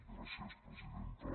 gràcies presidenta